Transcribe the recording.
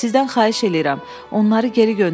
Sizdən xahiş eləyirəm, onları geri göndərin.